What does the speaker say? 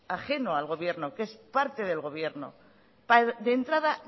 ajeno al gobierno que es parte del gobierno de entrada